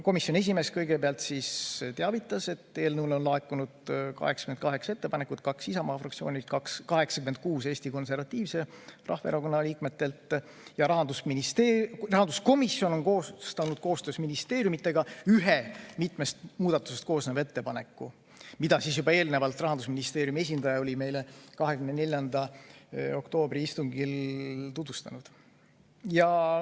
Komisjoni esimees kõigepealt teavitas, et eelnõu kohta on laekunud 88 muudatusettepanekut: kaks Isamaa fraktsioonilt, 86 Eesti Konservatiivse Rahvaerakonna liikmetelt ja rahandusminister ja rahanduskomisjon on koostanud koostöös ministeeriumitega ühe mitmest muudatusest koosneva ettepaneku, mida Rahandusministeeriumi esindaja oli meile 24. oktoobri istungil juba tutvustanud.